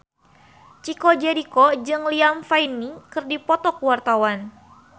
Chico Jericho jeung Liam Payne keur dipoto ku wartawan